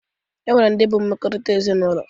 E nwere ndị bụ mmekọrịta ezinaụlọ